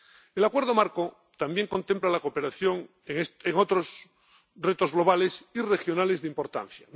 El Acuerdo Marco también contempla la cooperación en otros retos globales y regionales de importancia.